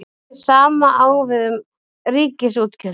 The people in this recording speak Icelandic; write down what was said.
Hið sama á við um ríkisútgjöld.